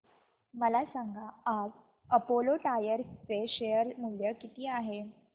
मला सांगा आज अपोलो टायर्स चे शेअर मूल्य किती आहे